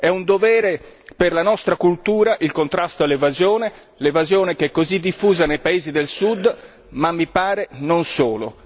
È un dovere per la nostra cultura il contrasto all'evasione, l'evasione che è così diffusa nei paesi del Sud ma, mi pare, non solo